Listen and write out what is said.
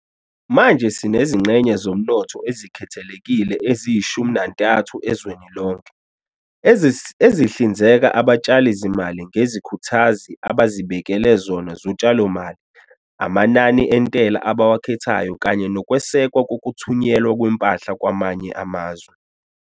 Manje sinezingxenye zomnotho ezikhethekile eziyi-13 ezweni lonke, ezihlinzeka abatshalizimali ngezikhuthazi abazibekele zona zotshalomali, amanani entela abawakhethayo kanye nokwesekwa kokuthunyelwa kwempahla kwamanye amazwe.